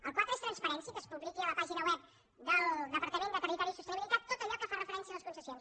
el quatre és transparència que es publiqui a la pàgina web del departament de territori i sostenibilitat tot allò que fa referència a les concessions